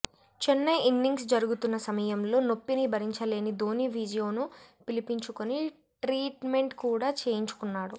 Chennai innings జరుగుతున్న సమయంలో నొప్పిని భరించలేని ధోనీ ఫిజియోను పిలిపించుకుని ట్రీట్మెంట్ కూడా చేయించుకున్నాడు